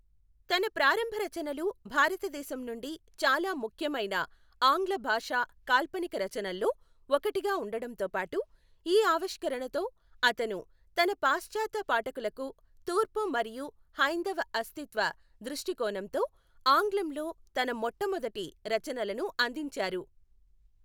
తన ప్రారంభ రచనలు భారతదేశం నుండి చాలా ముఖ్యమైన ఆంగ్ల భాషా కాల్పనిక రచనల్లో ఒకటిగా ఉండడంతో పాటు, ఈ ఆవిష్కరణతో, అతను తన పాశ్చాత్య పాఠకులకు తూర్పు మరియు హైందవ అస్తిత్వ దృష్టికోణంతో ఆంగ్లంలో తన మొట్టమొదటి రచనలను అందించారు.